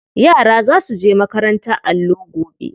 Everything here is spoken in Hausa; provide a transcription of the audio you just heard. Yara za su je makarantar allo gobe.